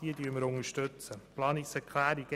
Zu Planungserklärung 1b